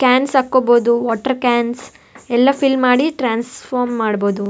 Cans ಹಾಕೋಬಹುದು water cans ಎಲ್ಲ fill ಮಾಡಿ ಟ್ರೇನ್ಸ್ಪೋರ್ಮ್ ಮಾಡ್ಬೋದು.